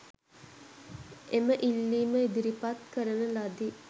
එම ඉල්ලීම ඉදිරිපත් කරන ලදී.